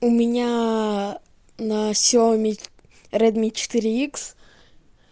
у меня на ксиаоми редми четыре икс